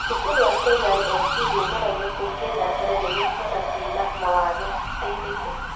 Cukuru wa KISE nĩũgeragia kũingĩrĩra tene niguo ciana ciĩna mawathe iteithĩke